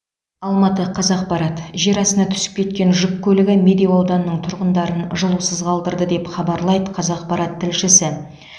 алматы қазақпарат жер астына түсіп кеткен жүк көлігі медеу ауданының тұрғындарын жылусыз қалдырды деп хабарлайды қазақпарат тілшісі